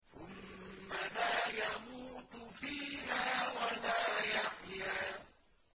ثُمَّ لَا يَمُوتُ فِيهَا وَلَا يَحْيَىٰ